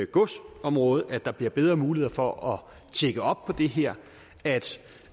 godsområdet at der bliver bedre muligheder for at tjekke op på det her